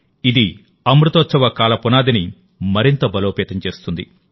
ఇది అమృతోత్సవ కాల పునాదిని మరింత బలోపేతం చేస్తుంది